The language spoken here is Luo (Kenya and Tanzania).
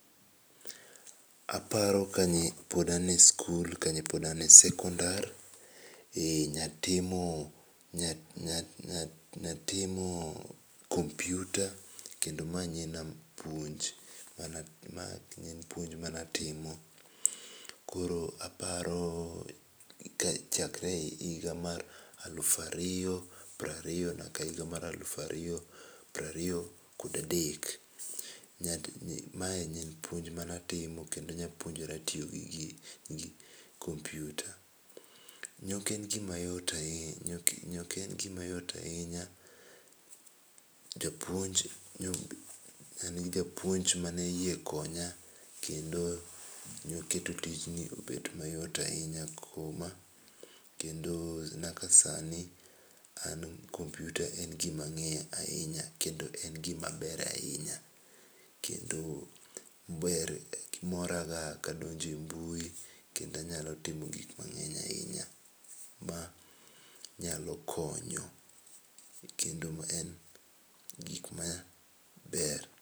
Aparo ka pod an e skul ka pod ne an e sekondar ne atimo ne atimo kompyuta kendo mano ne en puonj ma ne atimo koro aparo chakre higa mar aluf ariyo piero ariyo nyaka higa mar alafu ariyo kod piero ariyo ga adek. Mae ne en puonj ma ne atimo kendo ne apuonjora tiyo gi gini kompyuta ne ok en gi ma yot ahinya, japuonj no mano japuonj ma ne oyie konya kendo ne oketo tijni obedo mayot ahinya kendo nyaka sani an kompyuta en gi ma ang'eyo ahinya kendo en gi ma aber e ahinya. Kendo mora ga ka anyalo donjo e mbui kendo anyalo timo gik mang'eny ahinya nyalo konyo kendo ma en gik ma ber.